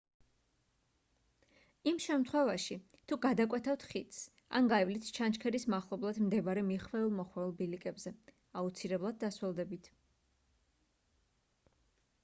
იმ შემთხვევაში თუ გადაკვეთავთ ხიდს ან გაივლით ჩანჩქერის მახლობლად მდებარე მიხვეულ-მოხვეულ ბილიკებზე აუცილებლად დასველდებით